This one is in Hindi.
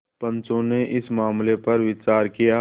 पंचो ने इस मामले पर विचार किया